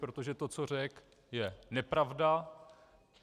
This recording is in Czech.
Protože to, co řekl, je nepravda.